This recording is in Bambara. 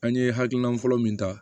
An ye hakilina fɔlɔ min ta